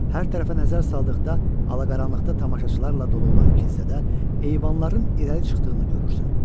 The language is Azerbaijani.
Hər tərəfə nəzər saldıqda ala-qaranlıqda tamaşaçılarla dolu olan kilsədə eyvanların irəli çıxdığını görürsən.